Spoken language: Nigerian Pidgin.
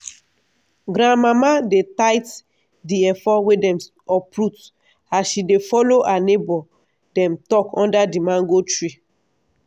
grandmama dey tite d efo wey dem uproot as she dey follo her neighbor dem talk under di mango tree.